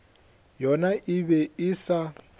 yona e be e sa